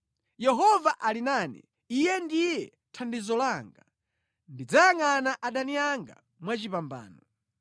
Yehova ali nane; Iye ndiye thandizo langa. Ndidzayangʼana adani anga mwachipambano.